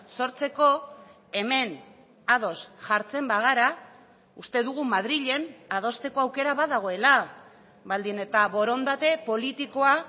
sortzeko hemen ados jartzen bagara uste dugu madrilen adosteko aukera badagoela baldin eta borondate politikoa